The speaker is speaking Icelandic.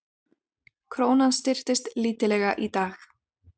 Krónan styrktist lítillega í dag